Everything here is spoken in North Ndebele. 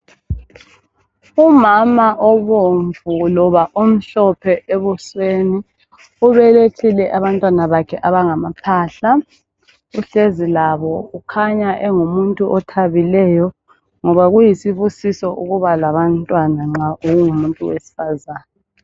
Umama obomvu loba omhlophe ebusweni ubelethile abantwana bakhe abanga maphahla uhlezi labo ukhanya engumunti othabile ngoba kuyisibusiso ukuba labantwana nxa ungumuntu wesifazana.